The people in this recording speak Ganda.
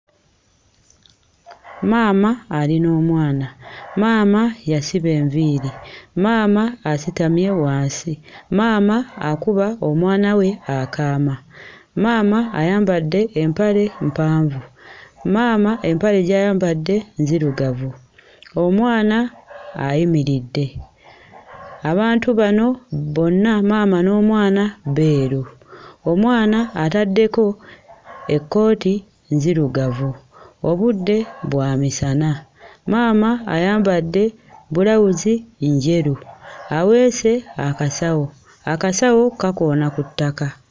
Maama ali n'omwana maama yasiba enviiri maama asitambye wansi maama akuba omwana we akaama maama ayambadde empale mpanvu maama empale gy'ayambadde nzirugavu omwana ayimiridde abantu bano bonna maama n'omwana beeru omwana ataddeko ekkooti nzirugavu obudde bwa misana maama ayambadde bbulawuzi njeru aweese akasawo akasawo kakoona ku ttaka.